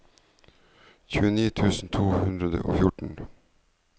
tjueni tusen to hundre og fjorten